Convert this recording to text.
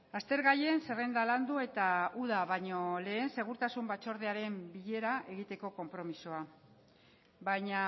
aztergaien zerrenda landu eta uda baino lehen segurtasun batzordearen bilera egiteko konpromisoa baina